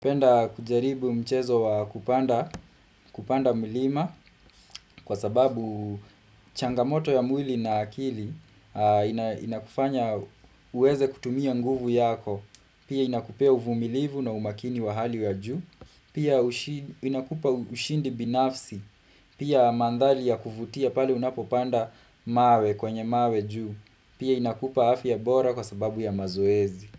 Penda kujaribu mchezo wa kupanda mlima kwa sababu changamoto ya mwili na akili inakufanya uweze kutumia nguvu yako. Pia inakupea uvumilivu na umakini wa hali wa juu. Pia inakupa ushindi binafsi. Pia mandhali ya kuvutia pale unapopanda mawe kwenye mawe juu. Pia inakupa afya bora kwa sababu ya mazoezi.